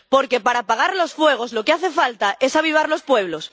Porque para apagar los fuegos lo que hace falta es avivar los pueblos.